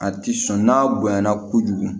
A ti sɔn n'a bonya na kojugu